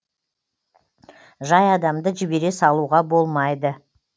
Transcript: жай адамды жібере салуға болмайды